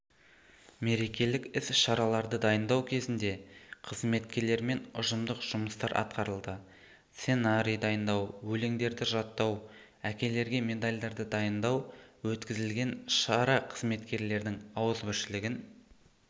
мерекелік іс шараларды дайындау кезінде қызметкерлермен ұжымдық жұмыстар атқарылды сценарий дайындау өлеңдерді жаттау әкелерге медалдарды дайындау өткізілген шара қызметкерлердің ауызбіршілігін